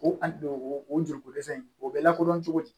O a don o joliko dɛsɛ in o bɛ lakodɔn cogo di